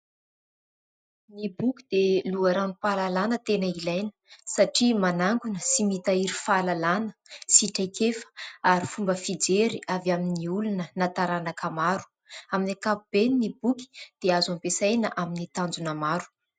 Ny boky dia loharanom-pahalalana tena ilaina satria manangona sy mitahiry fahalalana sy traikefa ary fomba fijery avy amin'ny olona na taranaka maro amin'ny akapobeny. Ny boky dia azo ampiasaina amin'ny tanjona maro.